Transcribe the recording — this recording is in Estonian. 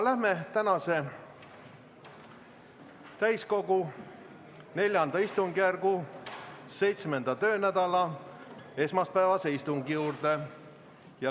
Läheme tänase, täiskogu IV istungjärgu 7. töönädala esmaspäevase istungi juurde.